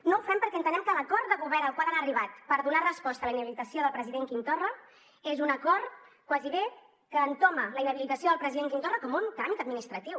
no ho fem perquè entenem que l’acord de govern al qual han arribat per donar resposta a la inhabilitació del president quim torra és un acord quasi bé que entoma la inhabilitació del president quim torra com un tràmit administratiu